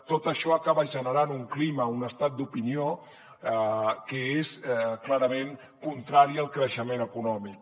tot això acaba generant un clima un estat d’opinió que és clarament contrari al creixement econòmic